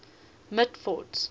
mitford's